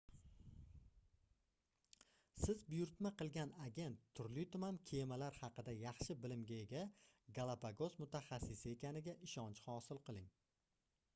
siz buyurtma qilgan agent turli-tuman kemalar haqida yaxshi bilimga ega galapagos mutaxassisi ekaniga ishonch hosil qiling